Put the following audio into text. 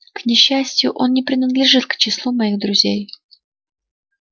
к несчастью он не принадлежит к числу моих друзей